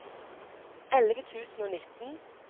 elleve tusen og nitten